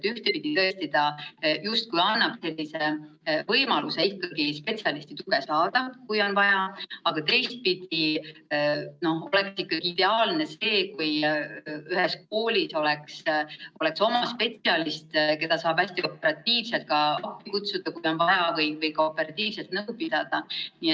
Ühtepidi ta justkui annab võimaluse ikkagi spetsialisti tuge saada, kui on vaja, aga teistpidi oleks muidugi ideaalne see, kui ühes koolis oleks oma spetsialist, keda saab hästi operatiivselt appi kutsuda, kui on vaja, või saab temaga nõu pidada.